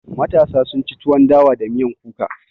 Matasa sun ci tuwon dawa da miyan kuka